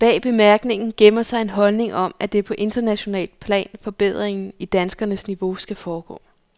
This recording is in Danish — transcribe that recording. Bag bemærkningen gemmer sig en holdning om, at det er på internationalt plan, forbedringen i danskernes niveau skal foregå.